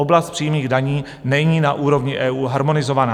Oblast přímých daní není na úrovni EU harmonizovaná.